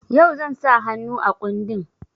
Yau zan sa hannu a kundin.